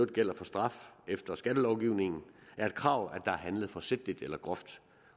gælder for straf efter skattelovgivningen er et krav er handlet forsætligt eller groft